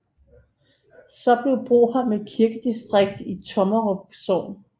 Så blev Broholm et kirkedistrikt i Tommerup Sogn